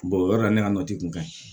o yɔrɔ la ne ka nɔti kun ka ɲi